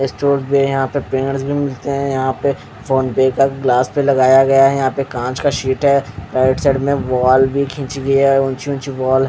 है यहाँ पे स्पिनर्स भी है यहाँ पे फोन पे का गिलास भी लगाया गया है यहाँ पे कांच का शीट है राइट साईड में वॉल भी खींची हुयी है यहाँ पे ऊंची ऊँची वॉल --